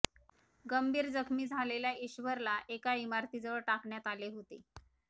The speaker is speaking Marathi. गंभीर जखमी झालेल्या ईश्वरला एका इमारतीजवळ टाकण्यात आले होते